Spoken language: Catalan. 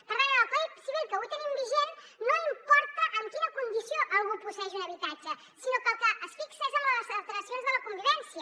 per tant en el codi civil que avui tenim vigent no importa en quina condició algú posseeix un habitatge sinó que en el que es fixa és en les alteracions de la convivència